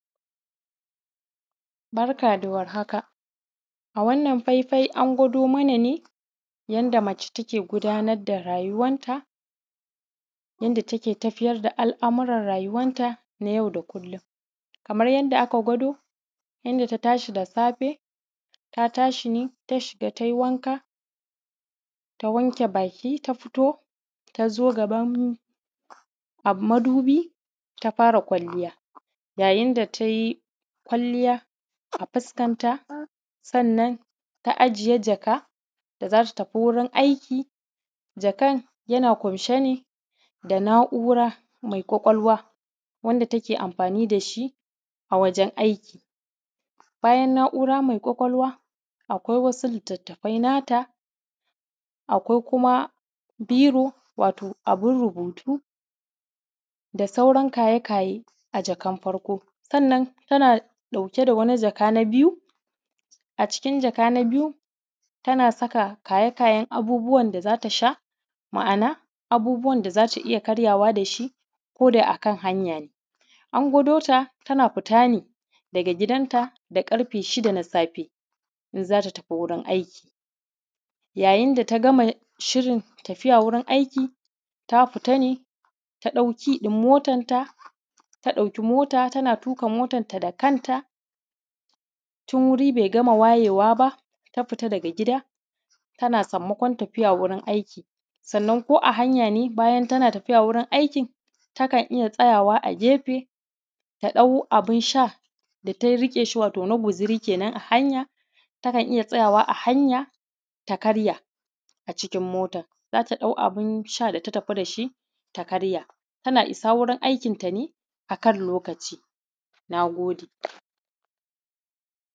Barka da war haka. A Wannan faifai an gwado mana ne, yanda mace take gudanar da rayuwarta; yanda take tafiyar da al’amuran rayuwanta na yau da kullun. Kamar yanda aka gwado, yanda ta tashi da safe, ta tashi ne ta shiga ta yi wanka, ta wanke baki ta fito, ta zo gaban am, madubi ta fara kwalliya. Yayin da ta yi kwalliya, a fuskanta, sannan ta ajiye jaka da za ta tafi wuri aiki. Jakan, yana ƙunshe ne da na’ura mai ƙwaƙwalwa. wanda take anfani da shi, a wajen aiki. Bayan naura mai ƙwaƙwalwa, akwai wasu litattafai nata, akwai kuma biro, wato abin rubutu, da sauran kaye-kaye, a jakan farko. Sannan tana ɗauke da wani jaka na biyu. A cikin jaka na biyu, tana saka kaye-kayen abubuwan da za ta sha, ma’ana abubuwan da za ta karya da shi, ko da a kan hanya ne. An gwado ta, tana fita ne daga gidanta da ƙarfe shida na safe, in za ta tafi wurin aiki. Yayin da ta gama shirin tafiya wurin aiki, ta fita ne ta ɗau ki ɗin motanta, ta ɗauki mota, tana tuƙa motanta da kanta. Tun wuri bai gama wayewa ba, ta fita daga gida. Tana sammakon tafiya wurin aiki. Sannan ko a hanya, ne bayan tana tafiya wurin aikin, takan iya tsayawa a gefe, ta ɗau abin sha, da ta riƙe shi wato na guzuri ke nan a hanya. Takan iya tsayawa a hanya, ta karya, a cikin motan. Za ta ɗau abin sha da ta tafi da shi, ta karya. Tana isa wurin aikin ta ne a kan lokaci. Na gode.